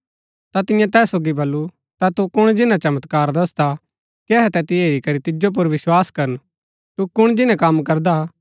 ता तियें तैस सोगी बल्लू ता तू कुण जिन्‍ना चमत्कार दसदा कि अहै तैतिओ हेरी करी तिजो पुर विस्वास करन तू कुण जिन्‍नै कम करदा